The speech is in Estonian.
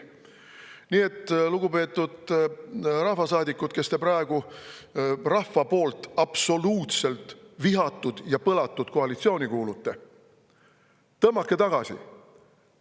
Nii et, lugupeetud rahvasaadikud, kes te praegu rahva poolt absoluutselt vihatud ja põlatud koalitsiooni kuulute: tõmmake tagasi.